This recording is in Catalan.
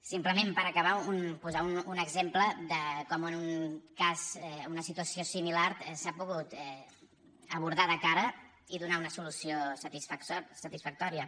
simplement per acabar posar un exemple de com en un cas en una situació similar s’ha pogut abordar de cara i donar una solució satisfactòria